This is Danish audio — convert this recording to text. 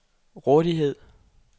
rådighed